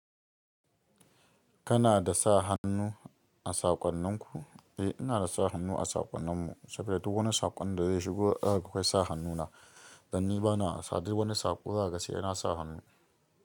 Kana da sa-hannu a saƙonninku? Eh, inada sa-hannu a saƙonninmu saboda duk wani saƙon da zai shigo akwai sa-hannuna. Dan ni bana wasa, duk wani saƙo zakaga sai nasa hannu.